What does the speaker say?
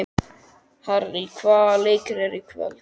Harrý, hvaða leikir eru í kvöld?